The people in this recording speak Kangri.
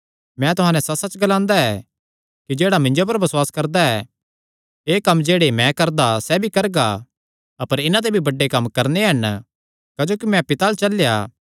मैं तुहां नैं सच्चसच्च ग्लांदा ऐ कि जेह्ड़ा मिन्जो पर बसुआस करदा ऐ एह़ कम्म जेह्ड़े मैं करदा सैह़ भी करगा अपर इन्हां ते भी बड्डे कम्म करणे हन क्जोकि मैं पिता अल्ल चलेया